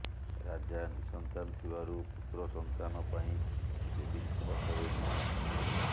ରାଜା ନିଃସନ୍ତାନ ଥିବାରୁ ପୁତ୍ର ସନ୍ତାନ ପାଇଁ ଦେବୀଙ୍କ ପାଖରେ ମିନତୀ କଲେ